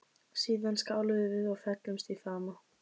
Síðan skáluðum við og féllumst í faðma.